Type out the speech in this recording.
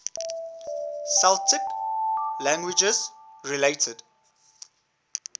celtic languages related